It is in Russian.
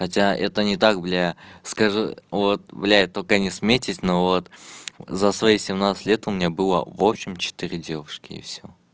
хотя это не так бля скажу вот блядь только не смейтесь но вот за свои семнадцать лет у меня было в общем четыре девушки и всё